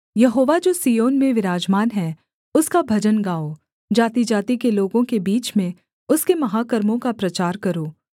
यहोवा जो सिय्योन में विराजमान है उसका भजन गाओ जातिजाति के लोगों के बीच में उसके महाकर्मों का प्रचार करो